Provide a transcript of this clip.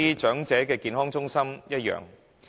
長者健康中心的情況亦然。